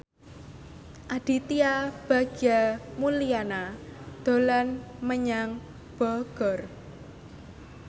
Aditya Bagja Mulyana dolan menyang Bogor